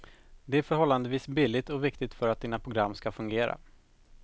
Det är förhållandevis billigt och viktigt för att dina program ska fungera.